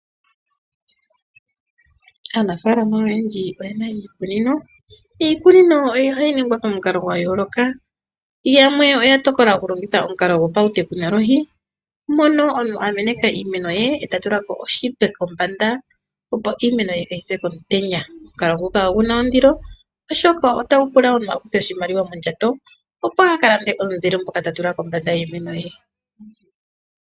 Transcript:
Aanafaalama oyendji oyena iikunino ,iikunino ohayi ningwa pamukalo gwa yooloka, yamwe oya tokola oku longitha omukalo gapouteknolohi mono omuntu a meneka iimeno ye eta tulako oshipe kombanda opo iimeno ye kayi se komutenya. Omukalo ngoka oguna ondilo oshoka otagu pula omuntu a kuthe oshimaliwa mondjato opo aka lande omunzile ngoka ta tula kombanda yiimeno ye.